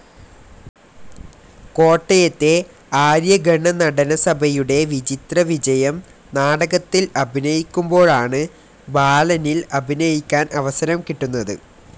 കോട്ടയത്തെ ആര്യ ഗണനടനസഭയുടെ വിചിത്ര വിജയം നാടകത്തിൽ അഭിനയിക്കുമ്പോഴാണ് ബാലനിൽ അഭിനയിക്കാൻ അവസരം കിട്ടുന്നത്.